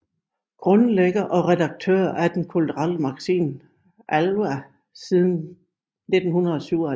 Grundlægger og redaktør af den kulturelle magasinet ALWAH siden 1997